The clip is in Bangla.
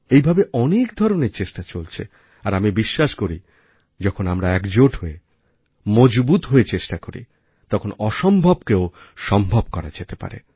এইভাবে অনেক ধরনের চেষ্টা চলছে আর আমি বিশ্বাস করি যখন আমরা একজোট হয়ে মজবুত হয়ে চেষ্টা করি তখন অসম্ভবকেও সম্ভব করা যেতে পারে